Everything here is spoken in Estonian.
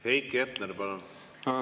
Heiki Hepner, palun!